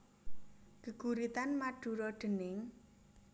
Geguritan Madura déning